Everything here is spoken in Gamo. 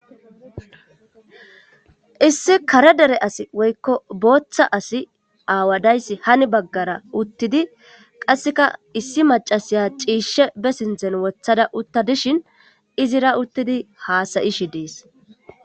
Issi kare dere asi woykko booththa asi aawadayssi hani baggara uttidi qasseka issi macasiya ciishshe be sinzen wothada utta dishin izira uttidi haasayishi dees.